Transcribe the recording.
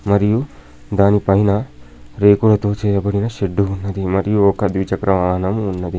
మరియు దానిపైన రేకులతో చేయబడిన షెడ్డు ఉన్నది. మరియు ఒక ద్విచక్ర వాహనం ఉన్నది.